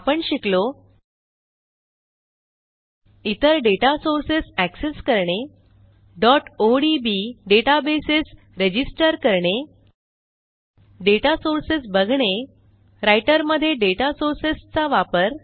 आपण शिकलो इतर डेटा सोर्सेस एक्सेस करणे odb डेटाबेस रजिस्टर करणे डेटा सोर्सेस बघणे राइटर मध्ये डेटा सोर्सेसचा वापर